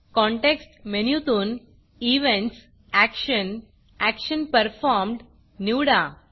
context मेनूतून events action action Performedएक्षन performed निवडा